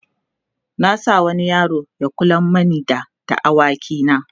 na sa wani yaro Ya kula mani da da awaki na